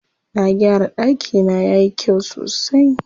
Na gyara ɗakina yayi kyau sosai.